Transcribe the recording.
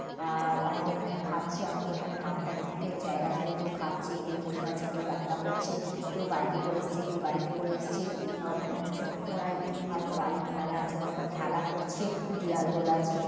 আ- অনেকে এখানে খাচ্ছে অনেক এখানে মাঠটার মধ্যে জায়গা জুড়ে কেও খাচ্ছে কেও বসে আছে কেও রান্না করছে কেও বাইক - এ করে এসছে কেও গাড়িতে করে এসছে আর ওখানে কিছু খোঁড়া ইট ফাঁট বালি ফেলা আছে ওখানে সব খেলা করছে দেয়াল তোলা আছে।